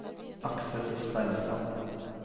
Aksel Steinsland